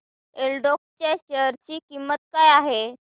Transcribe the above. एल्डेको च्या शेअर ची किंमत काय आहे